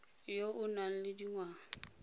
yo o nang le dingwaga